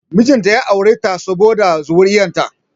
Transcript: Mijin ta ya aure ta ne saboda zuri'ar ta